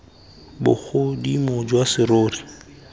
bogodimo jwa serori sa gago